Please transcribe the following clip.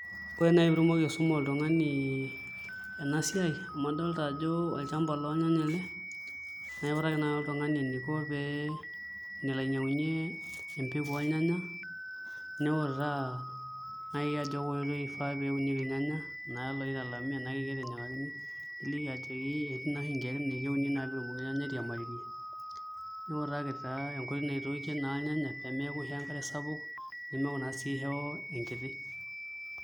Ore naai pee itumoki aisuma oltung'ani ena siai amu adolta ajo olchamba lolnyanya ele naa aiutaki naai oltung'ani eniko enelo ainyiang'unyie empeku olnyanya niutaa naai ajo kaa oitoi ifaa neunieki ilnyanya kelooitalami keloitinyikakini niliki ajoki etii naa oshi inkeek naa ekeuni piibung' airiamari niutaki naa enkoitoi naitookie naa ilnyanya pee meeku ishoo enkare sapuk neemeku naa isho enkiti.